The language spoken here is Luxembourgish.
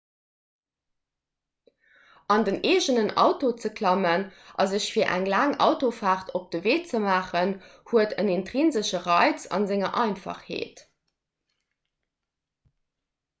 an den eegenen auto ze klammen a sech fir eng laang autofaart op de wee ze maachen huet en intrinsesche reiz a senger einfachheet